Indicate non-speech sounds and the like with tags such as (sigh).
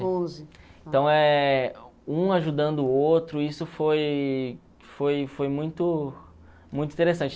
(unintelligible) Então, eh um ajudando o outro, isso foi foi foi muito muito interessante.